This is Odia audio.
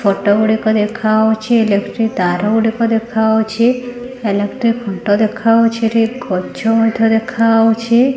ଫଟ ଗୁଡ଼ିକ ଦେଖାଅଉଛି । ଇଲେକ୍ଟ୍ରି ତାର ଗୁଡିକ ଦେଖାଅଉଛି । ଇଲେକ୍ଟ୍ରି ଖୁଣ୍ଟ ଦେଖାଅଉଛି। ଏଠି ଗଛ ମଧ୍ୟ ଦେଖାଉଛି ।